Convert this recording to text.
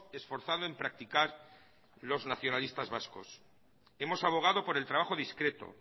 esforzado en practicar los nacionalistas vascos hemos abogado por el trabajo discreto